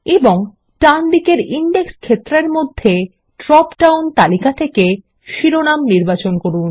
এবং ডানদিকের ইনডেক্স ক্ষেত্রের মধ্যে ড্রপ ডাউন তালিকা থেকে শিরোনাম নির্বাচন করুন